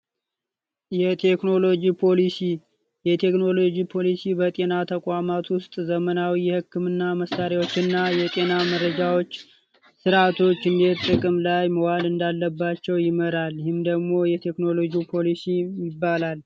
የቴክኖሎጅ ፖሊሲ የቴክኖሎጅ ፖሊሲ በጤና ተቋማት ውስጥ ዘመናዊ የህክምና መሳሪያዎች እና የጤና መረጃዎች ስርዓቶች እንዴት ጥቅም ላይ መዋል እንዳለባቸው ይመራል። ይህም ደግሞ የቴክኖሎጂ ፖሊሲ ይባላል።